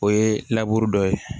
O ye dɔ ye